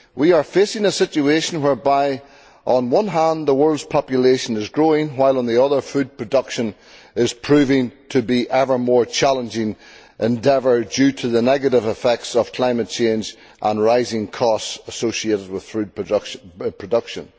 We are facing a situation whereby, on one hand, the world's population is growing, while, on the other, food production is proving to be an ever more challenging endeavour owing to the negative effects of climate change and rising costs associated with food production.